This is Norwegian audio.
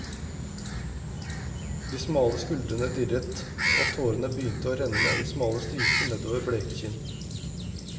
De smale skuldrene dirret, og tårene begynte å renne i smale striper nedover bleke kinn.